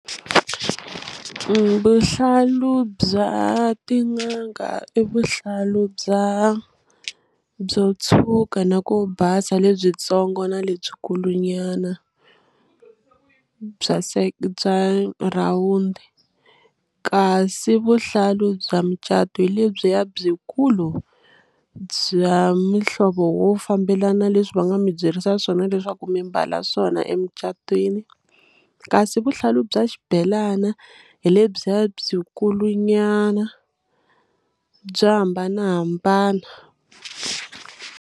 vuhlalu bya tin'anga i vuhlalu bya byo tshuka na ku basa lebyintsongo na lebyikulu nyana bya bya rhawundi kasi vuhlalu bya micato hi lebyiya byikulu bya mihlovo wo fambelana leswi va nga mi byerisa swona leswaku mi mbala swona emicatweni kasi vuhlalu bya xibelana hi le byi ya byi kulu nyana bya hambanahambana.